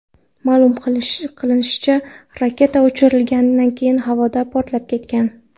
Ma’lum qilinishicha, raketa uchirilgandan keyin havoda portlab ketgan.